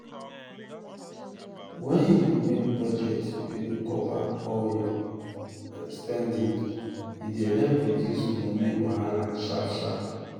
wen you make budget wey go cover all your spending e dey help reduce money wahala sharp sharp.